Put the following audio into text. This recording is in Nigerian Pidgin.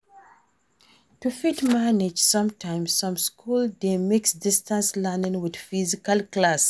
To fit manage sometimes, some school dey mix distance learning with physical class